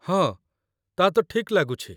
ହଁ, ତା'ତ ଠିକ୍ ଲାଗୁଛି।